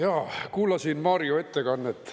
Jaa, kuulasin Mario ettekannet.